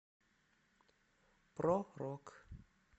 про рок